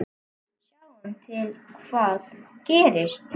Sjáum til hvað gerist.